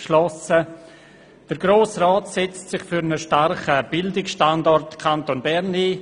«Der Grosse Rat setzt sich für einen starken Bildungsstandort Kanton Bern ein.